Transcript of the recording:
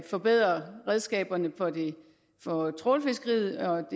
forbedre redskaberne for trawlfiskeriet og